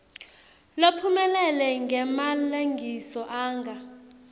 lophumelele ngemalengiso anga